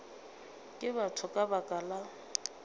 ke batho ka baka la